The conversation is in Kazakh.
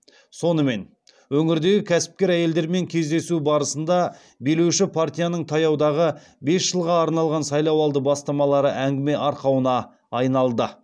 сонымен өңірдегі кәсіпкер әйелдермен кездесу барысында билеуші партияның таяудағы бес жылға арналған сайлауалды бастамалары әңгіме арқауына айналды